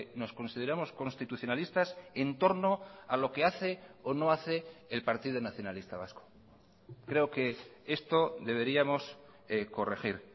nos consideramos constitucionalistas en torno a lo que hace o no hace el partido nacionalista vasco creo que esto deberíamos corregir